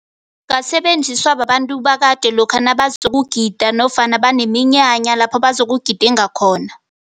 Ngasebenziswa babantu bakade lokha nabazokugida nofana baneminyanya lapho bazokugidinga khona.